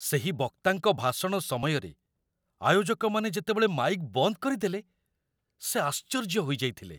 ସେହି ବକ୍ତାଙ୍କ ଭାଷଣ ସମୟରେ ଆୟୋଜକମାନେ ଯେତେବେଳେ ମାଇକ୍ ବନ୍ଦ କରିଦେଲେ ସେ ଆଶ୍ଚର୍ଯ୍ୟ ହୋଇଯାଇଥିଲେ।